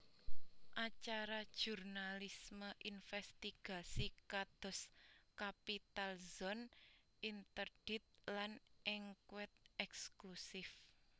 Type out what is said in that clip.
Acara jurnalisme investigasi kados Capital Zone interdite lan Enquête Exclusive